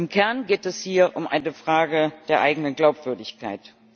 Im Kern geht es hier um die Frage der eigenen Glaubwürdigkeit.